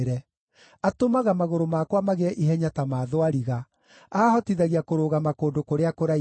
Atũmaga magũrũ makwa magĩe ihenya ta ma thwariga; aahotithagia kũrũgama kũndũ kũrĩa kũraihu.